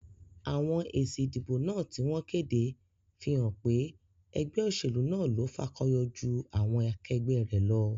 Àwon èsì ìdìbò náà tí wón kéde fí hán pé egbé òsèlú náà lo fakoyo jú àwon akegbé rè lo